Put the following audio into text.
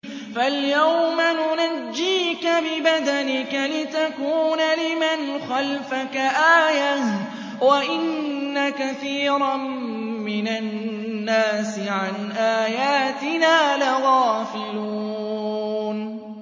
فَالْيَوْمَ نُنَجِّيكَ بِبَدَنِكَ لِتَكُونَ لِمَنْ خَلْفَكَ آيَةً ۚ وَإِنَّ كَثِيرًا مِّنَ النَّاسِ عَنْ آيَاتِنَا لَغَافِلُونَ